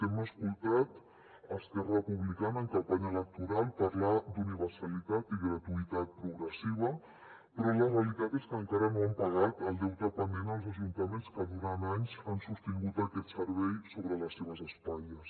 hem escoltat esquerra republicana en campanya electoral parlar d’universalitat i gratuïtat progressiva però la realitat és que encara no han pagat el deute pendent als ajuntaments que durant anys han sostingut aquest servei sobre les seves espatlles